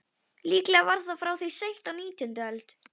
Á þessu öllu eru vart reiður hendandi.